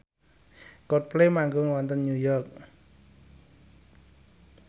Coldplay manggung wonten York